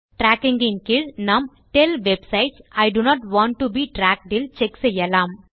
tracking இன் கீழ் நாம் tell websites I do not want to be tracked இல் செக் செய்யலாம்